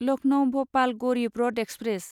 Lucknow Bhopal Garib Rath express